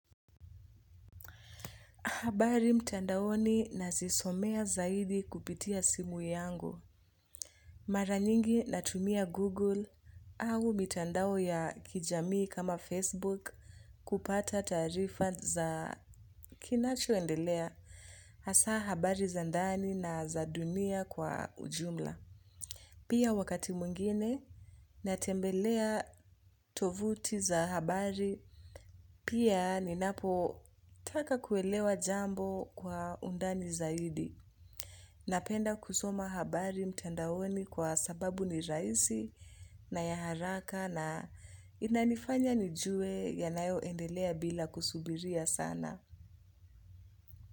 Habari mtandaoni na zisomea zaidi kupitia simu yangu. Mara nyingi natumia Google au mitandao ya kijamii kama Facebook kupata taarifa za kinachoendelea hasa habari za ndani na za dunia kwa ujumla. Pia wakati mwingine natembelea tovuti za habari pia ninapo taka kuelewa jambo kwa undani zaidi. Napenda kusoma habari mtandaoni kwa sababu ni rahisi na ya haraka na inanifanya nijue yanayo endelea bila kusubiria sana.